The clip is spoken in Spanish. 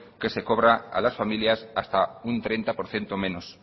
que se cobra a las familias hasta un treinta por ciento menos